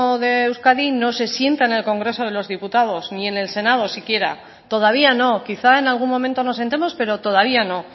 de euskadi no se sienta en el congreso de los diputados ni en el senado siquiera todavía no quizá en algún momento nos sentemos pero todavía no